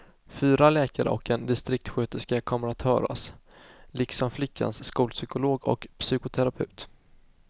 Fyra läkare och en distriktssköterska kommer att höras, liksom flickans skolpsykolog och psykoterapeut.